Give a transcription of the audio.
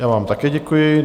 Já vám také děkuji.